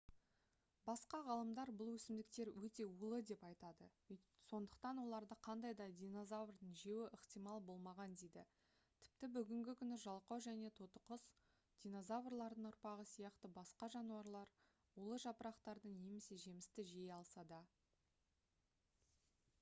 басқа ғалымдар бұл өсімдіктер өте улы деп айтады сондықтан оларды қандай да динозаврдың жеуі ықтимал болмаған дейді тіпті бүгінгі күні жалқау және тотықұс динозаврлардың ұрпағы сияқты басқа жануарлар улы жапырақтарды немесе жемісті жей алса да